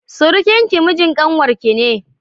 surukinki mijin kanwarki ne.